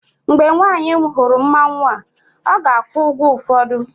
mgbe nwanyị hụrụ mmanwu a, ọ ga-akwụ ụgwọ ụfọdụ